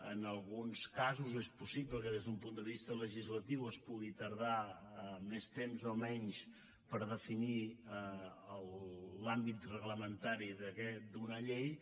en alguns casos és possible que des d’un punt de vista legislatiu es pugui tardar més temps o menys per definir l’àmbit reglamentari d’una llei